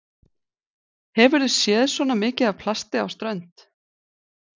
Hefurðu séð svona mikið af plasti á strönd?